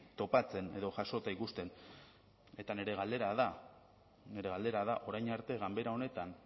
topatzen edo jasota ikusten eta nire galdera da nire galdera da orain arte ganbera honetan